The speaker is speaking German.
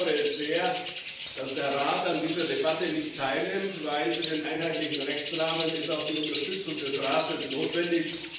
Ich bedauere sehr, dass der Rat an dieser Debatte nicht teilnimmt, denn für den einheitlichen Rechtsrahmen ist auch die Unterstützung des Rates notwendig.